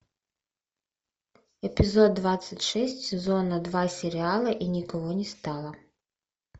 эпизод двадцать шесть сезона два сериала и никого не стало